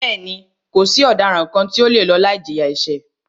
Bẹ́ẹ̀ni, kò sí ọ̀daràn kàn tí o le lọ láì jìyà ẹ̀ṣẹ̀.